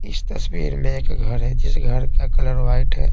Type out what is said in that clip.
इस तस्वीर में एक घर है जिस घर का कलर वाइट है।